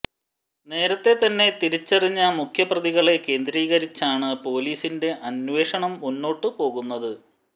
നേരത്തെ തന്നെ തിരിച്ചറിഞ്ഞ മുഖ്യപ്രതികളെ കേന്ദ്രീകരിച്ചാണ് പൊലീസിന്റെ അന്വേഷണം മുന്നോട്ടുപോകുന്നത്